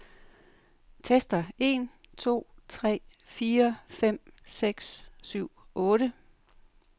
Tester en to tre fire fem seks syv otte.